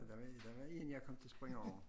Der var der var en jeg kom til at springe over